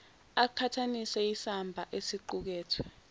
aqhathanise isamba esiqukethwe